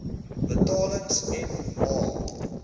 betalings m a